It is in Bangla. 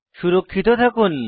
সুরক্ষিত থাকুন